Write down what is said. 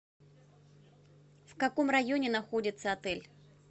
в каком районе находится отель